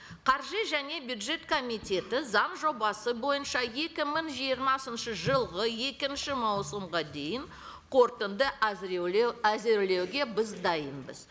қаржы және бюджет комитеті заң жобасы бойынша екі мың жиырмасыншы жылғы екінші маусымға дейін қорытынды әзірлеуге біз дайынбыз